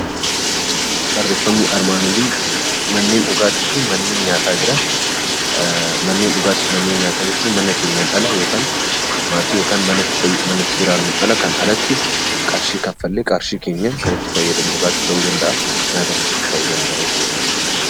Barreeffamni armaan olii, manneen dhugaatii fi manneen nyaataa jedha. Manneen dhugaatii fi manneen nyaataa jechuun mana keenyaan ala maatii kan itti jiraannuun alatti qarshii kanfallee dhugaatiis ta'uu danda'a, nyaatas ta'uu danda'a jechuudha.